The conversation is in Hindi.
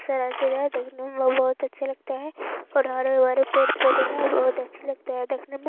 देखने मे बहुत अच्छे लगते है और हरे-भरे बी पेड़-पौधे है बहुत अच्छे लगते हैदेखने में---